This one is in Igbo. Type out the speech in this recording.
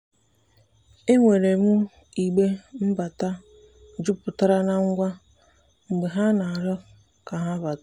enwere m igbe mbata juputara na ngwa mgbe ha rịọrọ ka ha bata.